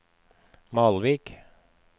Malvik